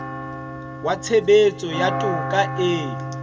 wa tshebetso ya toka e